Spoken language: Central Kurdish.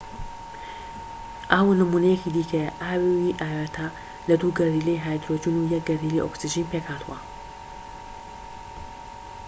ئاو نموونەیەکی دیکەیە ئاوی ئاوێتە لە دوو گەردیلەی هایدرۆجین و یەک گەردیلەی ئۆکسجین پێکهاتووە